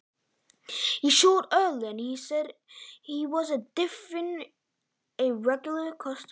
Hann sýndi snemma að hann var öðruvísi en venjulegur viðskiptavinur.